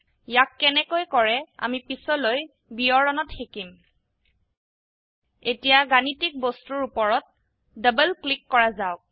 ইয়াক কেনেকৈ কৰে আমি পিছলৈ বিৱৰণত শিকিম এতিয়া গাণিতিক বস্তুৰ উপৰত ডবল ক্লিক কৰা যাওক